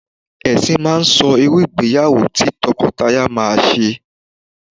Ẹ̀sìn máa ń sọ irú ìgbéyàwó tí tọkọtaya máa ṣe